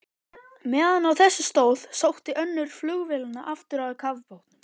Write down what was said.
Meðan á þessu stóð, sótti önnur flugvélanna aftur að kafbátnum.